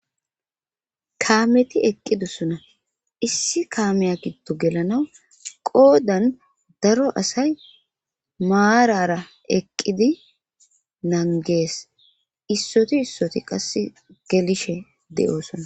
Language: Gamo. Kaameti eqqidussona issi kaameya giddo gelanaw qoodan daro asay maarara eqqidi nangees issoti issoti qass gelishe de'oosona.